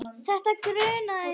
Þetta grunaði mig.